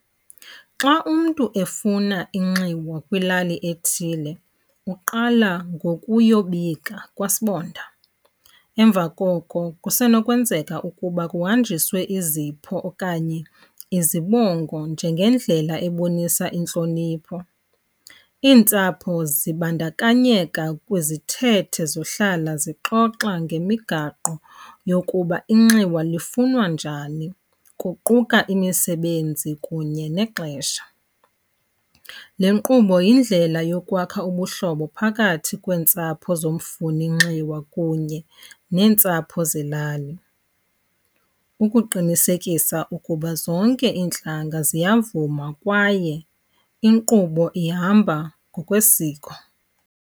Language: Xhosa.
Xa umntu efuna inxiwa kwilali ethile uqala ngokuyobika kwasibonda. Emva koko kusenokwenzeka ukuba kuhanjiswe izipho okanye izibongo njengendlela ebonisa intlonipho. Iintsapho zibandakanyeka kwizithethe zohlala zixoxa ngemigaqo yokuba inxiwa lifunwa njani, kuquka imisebenzi kunye nexesha. Le nkqubo yindlela yokwakha ubuhlobo phakathi kweentsapho zomfuninxiwa kunye neentsapho zelali ukuqinisekisa ukuba zonke iintlanga ziyavuma kwaye inkqubo ihamba ngokwesiko.